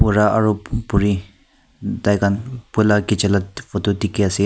bura aro uh buri tai khan puila kichila photo dikhi ase.